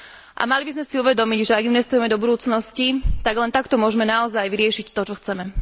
A mali by sme si uvedomiť, že ak investujeme do budúcnosti, tak len takto môžme naozaj vyriešiť to, čo chceme.